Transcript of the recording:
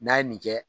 N'a ye nin kɛ